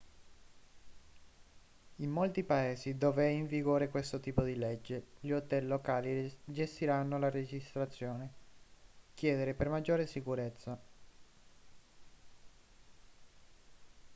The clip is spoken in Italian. in molti paesi dove è in vigore questo tipo di legge gli hotel locali gestiranno la registrazione chiedere per maggiore sicurezza